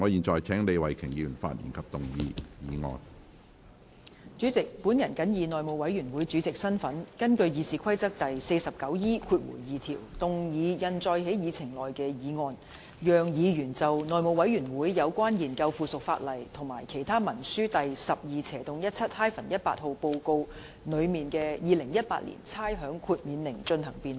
主席，我謹以內務委員會主席的身份，根據《議事規則》第 49E2 條動議通過印載於議程內的議案，讓議員就內務委員會有關研究附屬法例及其他文書第 12/17-18 號報告內的《2018年差餉令》進行辯論。